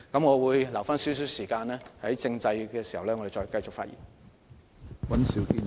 我會預留一些時間，留待在政制問題的辯論環節中繼續發言。